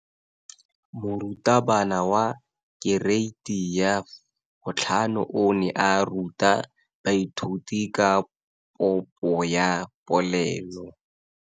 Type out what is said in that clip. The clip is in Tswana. Moratabana wa kereiti ya 5 o ne a ruta baithuti ka popo ya polelo.